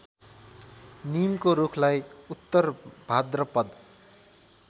निमको रूखलाई उत्तरभाद्रपद